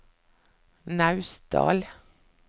Naustdal